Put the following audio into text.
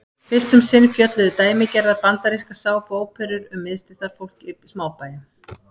fyrst um sinn fjölluðu dæmigerðar bandarískar sápuóperur um miðstéttarfólk í smábæjum